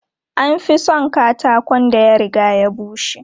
An fi son katakon da ya riga ya bushe.